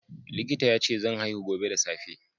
Likita yace zan haihu gobe da safe.